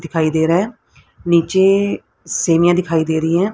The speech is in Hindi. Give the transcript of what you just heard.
दिखाई दे रहा है नीचे सीढ़ियां दिखाई दे रही है।